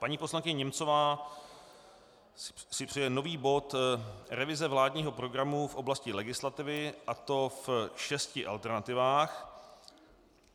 Paní poslankyně Němcová si přeje nový bod - revize vládního programu v oblasti legislativy, a to v šesti alternativách.